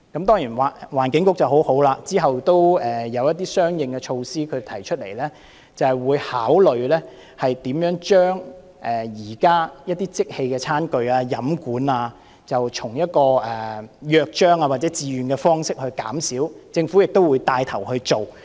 當然，環境局很好，之後提出了一些相應措施，表示會考慮如何將一些即棄餐具、飲管以約章或自願方式減少，政府亦會帶頭去做。